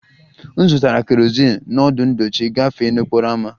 M zụtara kerozin n'ọdụ ndochi gafee n'okporo ámá